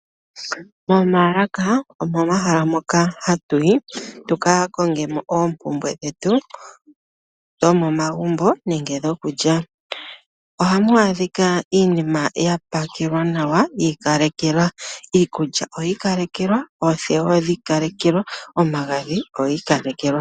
Momaalaka, omomahala moka hatu yi tu ka konge mo oompumbwe dhetu dhomomagumbo nenge dhokulya. Ohamu adhika iinima ya pakelwa nawa, iikulya oyi ikalekelwa, oothewa odhi ikalekelwa, omagadhi ogi ikalekelwa.